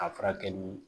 A furakɛ ni